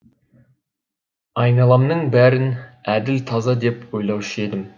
айналамның бәрін әділ таза деп ойлаушы едім